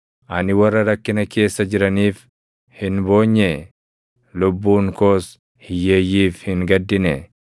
Ani warra rakkina keessa jiraniif hin boonyee? Lubbuun koos hiyyeeyyiif hin gaddinee?